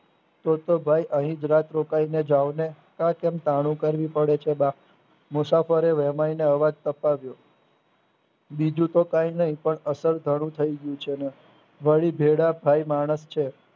તો તો ભાઈ અહીજ રાત રોકાઈને જાવને આ કેમ કરવી પડે છે બા મુસાફરે વેમ્યને અવાજ પતાવ્યો બીજુતો કાઈનઈ અસર ઘણું થઇ ગયું છે ને વળી ભેળા થાઈ માણસ છે.